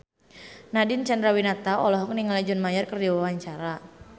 Nadine Chandrawinata olohok ningali John Mayer keur diwawancara